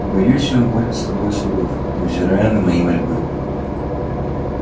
боюсь он будет с тобой суров невзирая на мои мольбы